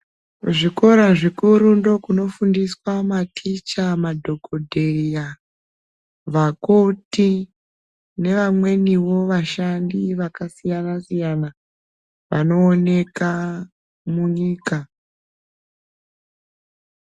Zvikora zvikuru ndokunofundiswa maticha madhokodheya vakoti nevamweniwo vashandi vakasiyana siyana vañooneka munyika.